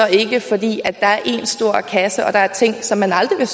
ikke fordi der er én stor kasse og der er ting som man aldrig vil